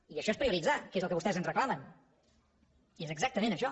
i això és prioritzar que és el que vostès ens reclamen i és exactament això